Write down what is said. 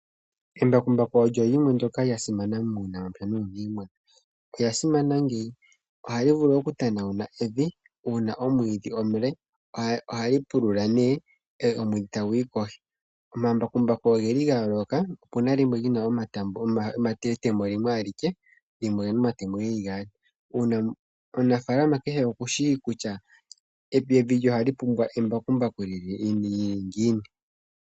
Embakumbaku olyo limwe ndyoka lya simana muunamapya nuu niimuna olya simana ngeyi ohali vulu okutanawuna evi uuna omwiidhi omule ohali pulula ne omwidhi taguyi kohi. Omambakumbaku ogeli ga yooloka opuna limwe lyina etemo limwe alike lyimwe olina omatemo geli gaali. Omunafalama kehe okushi kutya evi lye ohali pumbwa embakumbaku lyili ngiini.